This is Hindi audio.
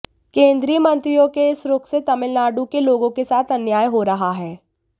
केंद्रीय मंत्रियों के इस रुख से तमिलनाडु के लोगों के साथ अन्याय हो रहा है